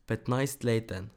Petnajstleten.